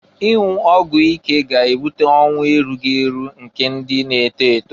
Ịnwụ ọgwụ ike ga-ebute ọnwụ erughi eru eru nke ndị na-eto eto.